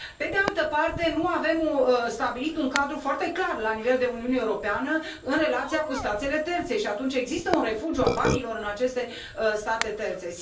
Pe de altă parte, nu avem stabilit un cadru foarte clar la nivel de Uniune Europeană în relația cu statele terțe și atunci există un refugiu al banilor în aceste în state terțe.